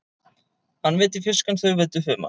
Hann veiddi fisk en þau veiddu humar.